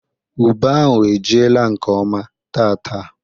Ube ahụ ejiela nkeọma taata.